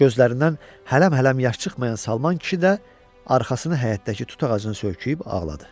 Gözlərindən hələm-hələm yaş çıxmayan Salman kişi də arxasını həyətdəki tut ağacına söykəyib ağladı.